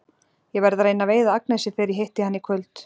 Ég verð að reyna að veiða Agnesi þegar ég hitti hana í kvöld.